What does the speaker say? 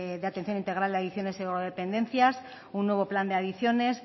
de atención integral de adicciones y drogodependencias un nuevo plan de adicciones